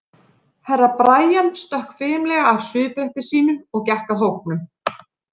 Herra Brian stökk fimlega af svifbretti sínu og gekk að hópnum.